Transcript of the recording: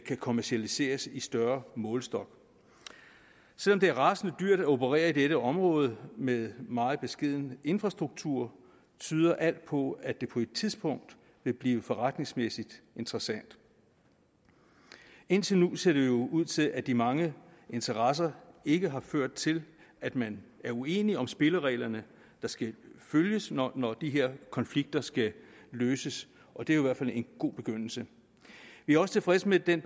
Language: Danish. kan kommercialiseres i større målestok selv om det er rasende dyrt at operere i dette område med meget beskeden infrastruktur tyder alt på at det på et tidspunkt vil blive forretningsmæssigt interessant indtil nu ser det jo ud til at de mange interesser ikke har ført til at man er uenige om spillereglerne der skal følges når når de her konflikter skal løses og det er jo i hvert fald en god begyndelse vi er også tilfredse med den